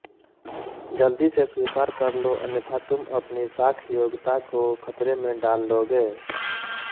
ज़ल्दी से स्वीकार कर लो अन्यथा तुम अपनी साख योग्यता को खतरे में डाल लोगे